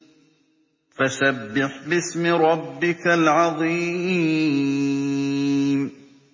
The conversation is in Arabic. فَسَبِّحْ بِاسْمِ رَبِّكَ الْعَظِيمِ